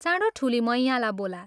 चाँडो ठूली मैयाँलाई बोला।